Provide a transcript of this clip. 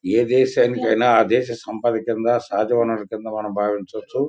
ఏ దేశానికైనా ఆ దేస సంపద కింద సహజ వనరుల కింద మనం భావించొచ్చు.